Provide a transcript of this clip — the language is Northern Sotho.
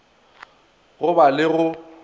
go ba le le go